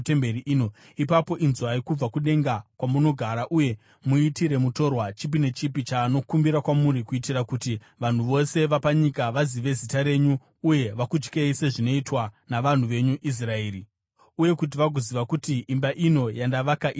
ipapo inzwai kubva kudenga, kwamunogara uye muitire mutorwa chipi nechipi chaanokumbira kwamuri kuitira kuti vanhu vose vapanyika vazive zita renyu uye vakutyei sezvinoitwa navanhu venyu Israeri, uye kuti vagoziva kuti imba ino yandavaka ine Zita renyu.